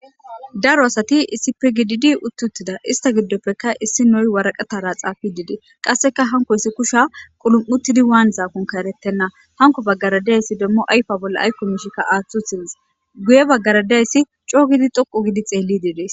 daro asati isipe gididi uttuttida ista giddoppekka issi noy waraqatara xaafi dide qasseka hanko yssi kusha qulum7utidi waan zaakon kaeretenna hanko baggaradayssi demmo ayfa bolla aykko mishkka aaththu thies guye baggaradayssi coo gidi dhoqu gidi xeelli diides